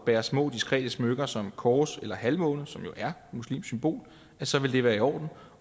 bærer små og diskrete smykker som kors eller halvmåne som jo er et muslimsk symbol så vil det være i orden